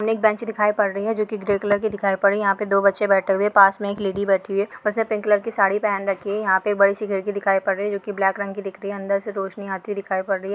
आणि एक बेंच दिखाई पड रही है जो की ग्रे कलर की दिखाई पडी यहाँ पे दो बच्छे बैठे हुए पास मे एक लेडी बैठी हुई है उसने पिंक कलर की साड़ी पेहन रखी है यहाँ पे बहुत सी खिड़की दिखाई पडीरही है जो की ब्लॅक रंग की दिखती है अंदर से रोशनी आती दिखाई पड़ रही है।